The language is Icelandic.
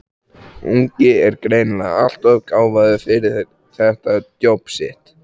ungi er greinilega alltof gáfaður fyrir þetta djobb sitt.